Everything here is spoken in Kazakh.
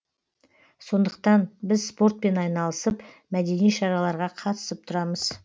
сондықтан біз спортпен айналысып мәдени шараларға қатысып тұрамыз